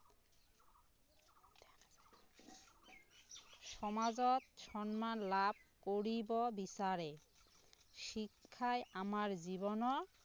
সমাজত সন্মান লাভ কৰিব বিচাৰে শিক্ষায় আমাৰ জীৱনত